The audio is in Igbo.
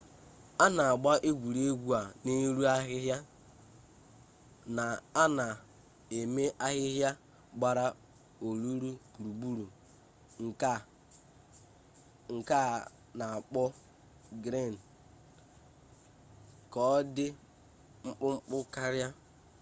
a na-agba egwuregwu a n'elu ahịhịa na a na-eme ahịhịa gbara olulu gburugburu nke a na-akpọ griin ka ọ dị mkpụmkpụ karịa